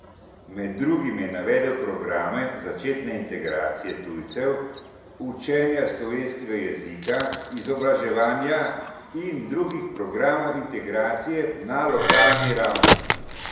Med drugim je navedel programe začetne integracije tujcev, učenja slovenskega jezika, izobraževanja in drugih programov integracije na lokalni ravni.